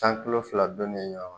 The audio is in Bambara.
Tan kilo fila donnen ɲɔan kan